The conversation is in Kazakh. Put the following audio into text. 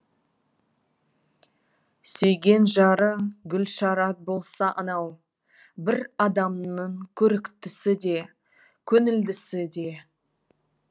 сүйген жары гүлшарат болса анау бір адамның көріктісі де көңілдісі де